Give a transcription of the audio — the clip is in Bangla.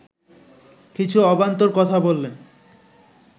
কিছু অবান্তর কথা বললেন